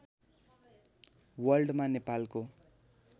वर्ल्डमा नेपालको